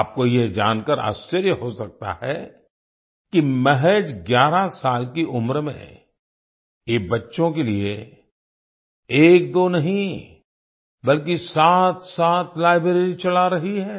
आपको यह जानकार आश्चर्य हो सकता है कि महज 11 साल की उम्र में ये बच्चों के लिए एकदो नहीं बल्कि सातसात लाइब्रेरी चला रही है